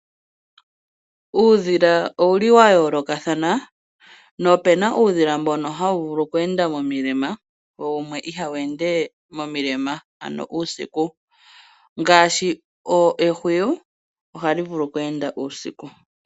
Uudhila owuli wa yoolokathana nopena uudhila mbono hawu vulu okweenda momilema wo wumwe ihawu ende momilema ano uusiku, ngaashi ehwiyu ohali vulu okweenda uusiku.